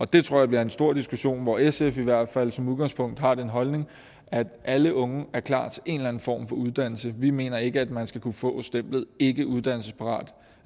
det tror jeg bliver en stor diskussion hvor sf i hvert fald som udgangspunkt har den holdning at alle unge er klar til en eller en form for uddannelse vi mener ikke at man skal kunne få stemplet ikkeuddannelsesparat